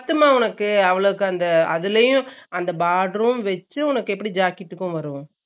பத்துமா உன்னக்கு அவ்ளோக்கும் அந்த அதுலயும் அந்த boarder உம் வெச்சு உனக்கு எப்படி jacket க்கு வரும்